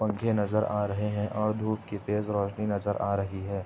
पंखे नजर आ रहे हैं और धूप की तेज रोशनी नजर आ रही है।